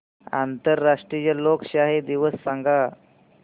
आंतरराष्ट्रीय लोकशाही दिवस सांगा